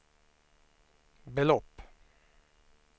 belopp